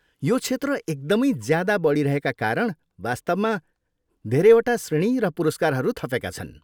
यो क्षेत्र एकदमै ज्यादा बढिरहेका कारण वास्तवमा धेरैवटा श्रेणी र पुरस्कारहरू थपेका छन्।